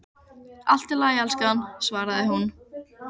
Allt í lagi, elskan, svaraði hún.